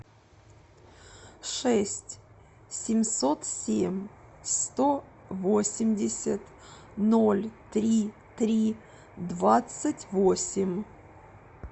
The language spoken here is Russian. шесть семьсот семь сто восемьдесят ноль три три двадцать восемь